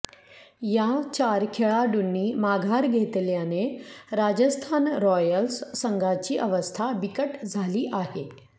या चार खेळाडूंनी माघार घेतल्याने राजस्थान रॉयल्स संघाची अवस्था बिकट झाली आहे